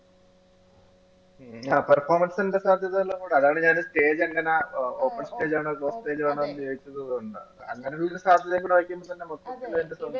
സാധ്യത എല്ലാം കൂടെ അതാണീ ഞാൻ stage എങ്ങനാ open stage ആണോ? stage ആണോ? ചോദിച്ചത് അതുകൊണ്ടാ അങ്ങനെ ഒരു സാധ്യതയും